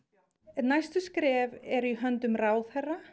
næstu skref eru í höndum ráðherra